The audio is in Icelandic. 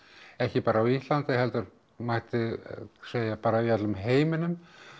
ekki bara á Íslandi heldur mætti segja bara í öllum heiminum